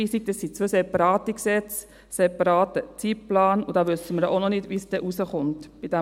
Es sind zwei separate Gesetze, ein separater Zeitplan, und wir wissen auch noch nicht, wie es dann beim BSFG herauskommen wird.